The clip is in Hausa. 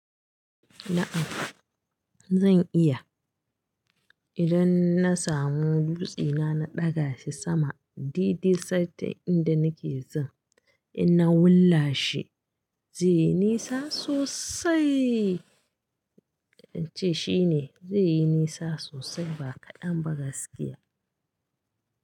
A'a zan iya. Idan na samu dutsuna na ɗaga shi sama dede santa inda nake zan in na willa shi zai yi nisa sosai. Don ce shine zai yi nisa sosai ba kaɗan ba gaskiya.